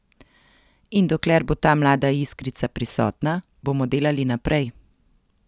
In dokler bo ta mlada iskrica prisotna, bomo delali naprej.